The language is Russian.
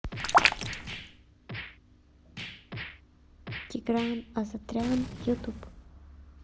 тигран асатрян ютуб